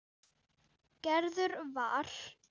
Gerður var.